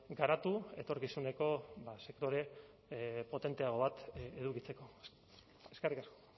garatu etorkizuneko sektore potenteago bat edukitzeko eskerrik asko